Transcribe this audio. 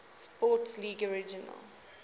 sports league originally